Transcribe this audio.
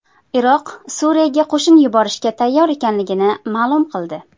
Iroq Suriyaga qo‘shin yuborishga tayyor ekanligini ma’lum qildi.